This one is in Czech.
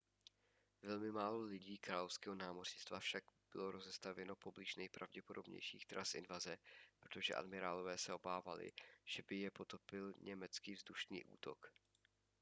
velmi málo lodí královského námořnictva však bylo rozestavěno poblíž nejpravděpodobnějších tras invaze protože admirálové se obávali že by je potopil německý vzdušný útok